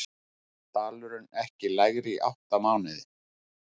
Dalurinn ekki lægri í átta mánuði